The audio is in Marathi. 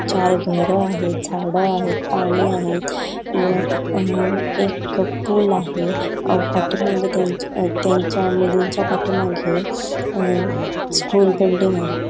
चार घर आहेत झाड आहेत पाणी आहेत व अअ एक पूल आहे पाठीमागे त्यांच्या त्यांच्या मुलींच्या पाठीमागे अअ स्कूल बिल्डिंग आहे.